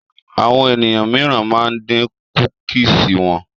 Àwọn ènìyàn míìràn ma ń dín kúkìsì wọn